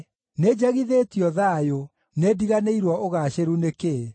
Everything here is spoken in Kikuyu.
Nĩnjagithĩtio thayũ; nĩndiganĩirwo ũgaacĩru nĩ kĩĩ.